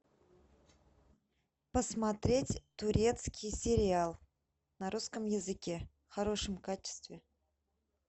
посмотреть турецкий сериал на русском языке в хорошем качестве